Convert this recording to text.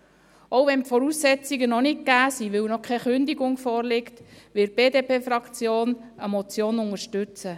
Auch wenn die Voraussetzungen noch nicht gegeben sind, weil noch keine Kündigung vorliegt, wird die BDP-Fraktion eine Motion unterstützen.